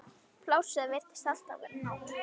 Plássið virtist alltaf vera nóg.